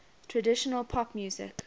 traditional pop music